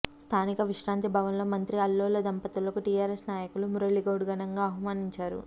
స్థానిక విశ్రాంతి భవనంలో మంత్రి అల్లోల దంపతులకు టీఆర్ఎస్ నాయకులు మురళిగౌడ్ ఘనంగా సన్మానించారు